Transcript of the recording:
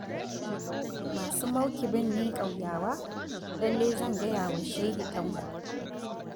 Masu maukibin ne ƙauyawa Lallai zan gaya wa shehi Tanko.